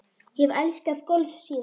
Ég hef elskað golf síðan.